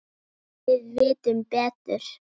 Við vitum betur